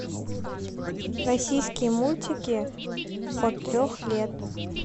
российские мультики от трех лет